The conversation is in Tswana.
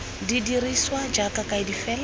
di dirisiwa jaaka kaedi fela